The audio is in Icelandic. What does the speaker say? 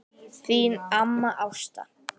Þín amma Ásta.